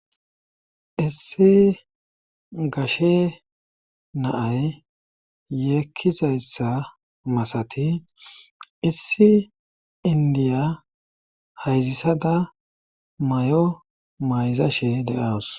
Issi gashe naay yeekkizayssa masati issi indiya hayzissada may7o mayzashe de'owos.